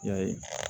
I y'a ye